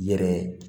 Yɛrɛ